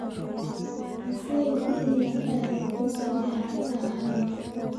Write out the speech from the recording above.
Ha seegin inaad aado dugsiga xitaa hal mar